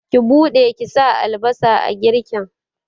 Ki buɗe ki sa albasa a girkin!